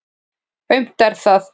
Aumt er það.